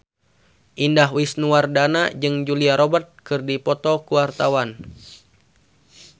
Indah Wisnuwardana jeung Julia Robert keur dipoto ku wartawan